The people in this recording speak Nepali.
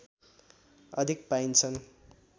अधिक पाइन्छन्